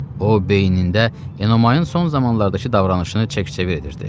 O beynində Enomayın son vaxtlardakı davranışını çək-çevir edirdi.